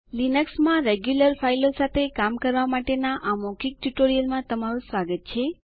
Linux સાથે system administration basics પરના મૌખિક ટયુટોરિઅલમાં તમારું સ્વાગત છે